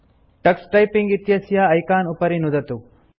Tux typing इत्यस्य icon उपरि नुदतु